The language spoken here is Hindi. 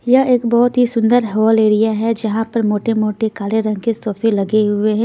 यह एक बहुत ही सुंदर हॉल एरिया हैं जहां पर मोटे-मोटे काले रंग के सोफे लगे हुए हैं।